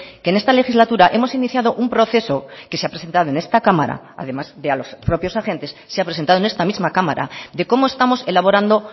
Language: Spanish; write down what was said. que en esta legislatura hemos iniciado un proceso que se ha presentado en esta cámara además de a los propios agentes se ha presentado en esta misma cámara de cómo estamos elaborando